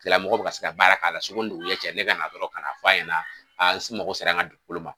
Misaliya la mɔgɔw bi ka se ka baara k'a la suko ni dugusajɛ cɛ ne ka na dɔrɔn ka na fɔ ɲɛna a n mago sera n ka dugukolo ma.